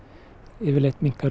yfirleitt minnkar